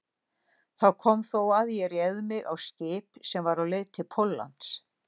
Þar kom þó að ég réð mig á skip sem var á leið til Póllands.